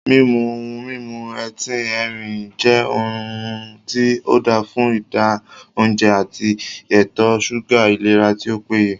Mímu ohun mímu etín erin jẹ́ ohun tí ,óda fún ìdá óùnjẹ, ati ètò súgà ìlera tí ó péye